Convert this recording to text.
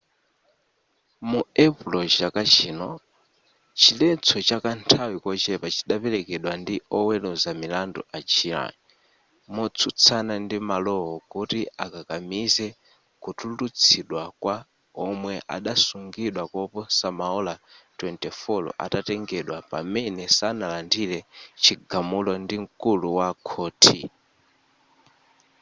mu epulo chaka chino chiletso cha kanthawi kochepa chidapelekedwa ndi oweluza milandu a glyn motsutsana ndi malowo kuti akakamize kutulutsidwa kwa omwe adasungidwa koposa maola 24 atatengedwa pamene sanalandire chigamulo ndi mkulu wa khothi